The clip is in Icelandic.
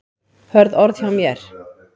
Hörð orð hjá mér?